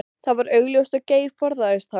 Það var augljóst að Geir forðaðist hann.